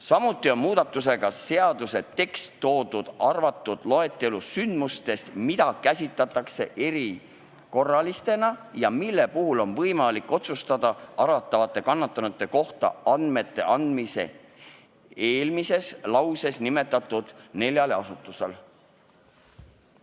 Samuti on muudatusega seaduse teksti toodud avatud loetelu sündmustest, mida käsitatakse erakorralistena ja mille puhul on võimalik otsustada arvatavate kannatanute kohta andmete andmine eelmises lauses nimetatud neljal asutusel.